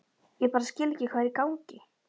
Ég bara skil ekki hvað er í gangi.